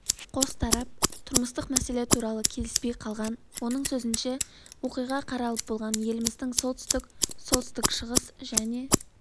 қос тарап тұрмыстық мәселе туралы келіспей қалған оның сөзінше оқиға қаралып болған еліміздің солтүстік солтүстік-шығыс және